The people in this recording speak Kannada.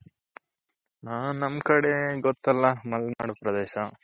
ಹ ನಮ್ ಕಡೆ ಗೊತ್ತಲ್ಲ ಮಲ್ನಾಡು ಪ್ರದೇಶ.